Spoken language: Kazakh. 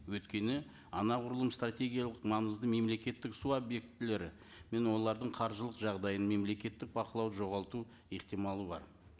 өйткені анағұрлым стратегиялық маңызды мемлекеттік су объектілері мен олардың қаржылық жағдайын мемлекеттік бақылауды жоғалту ықтималы бар